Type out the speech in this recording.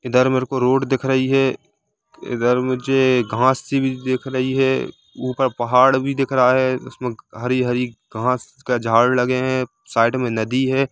इधर मेरे को रोड दिख रही है इधर मुझे घास सी भी दिख रही है ऊपर पहाड़ भी दिख रहा है उसमे हरी-हरी घास का झाड़ लगे है साइड मे नदी है।